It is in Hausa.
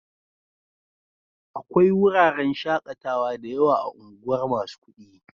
Akwai wuraren shaƙatawa da yawa a unguwar masu kuɗi.